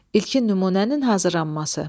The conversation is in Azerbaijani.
İlkin nümunənin hazırlanması.